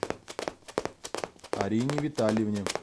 арине витальевне